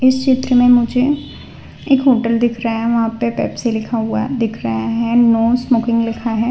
इस चित्र में मुझे एक होटल दिख रहा है वहां पे पेप्सी लिखा हुआ दिख रहा है नो स्मोकिंग लिखा है।